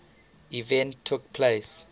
event took place